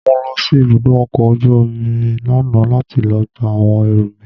Mo lọ sí ibùdó ọkọ̀ ojú omi lánàá láti lọ gba àwọn ẹrù mi.